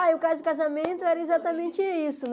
Ah, e o caso de casamento era exatamente isso, né?